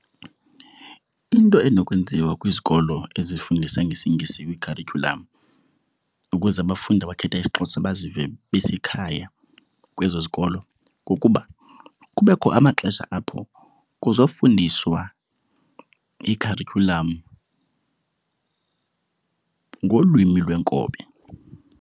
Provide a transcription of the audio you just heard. Into enokwenziwa kwizikolo ezifundisa ngesiNgesi kwikharityhulam ukuze abafundi abakhetha isiXhosa bazive basekhaya kwezo zikolo kukuba kubekho amaxesha apho kuzofundiswa ikharityhulam ngolwimi lwenkobe.